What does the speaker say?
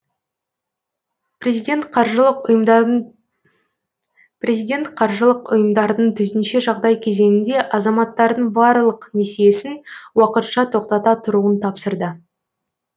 президент қаржылық ұйымдардың төтенше жағдай кезеңінде азаматтардың барлық несиесін уақытша тоқтата тұруын тапсырды